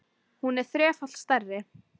Hún er þrefalt stærri.